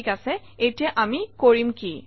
ঠিক আছে এতিয়া আমি কৰিম কি